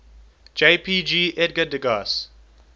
jpg edgar degas